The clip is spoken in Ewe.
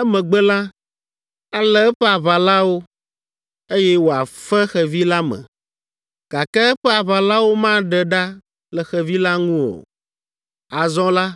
Emegbe la, alé eƒe aʋalawo, eye wòafe xevi la me, gake eƒe aʋalawo maɖe ɖa le xevi la ŋu o. Azɔ la,